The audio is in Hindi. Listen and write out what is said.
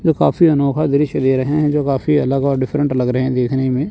तो काफी अनोखा दृश्य ले रहे हैं जो काफी अलग और डिफरेंट लग रहे हैं देखने में।